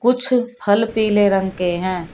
कुछ फल पीले रंग के हैं।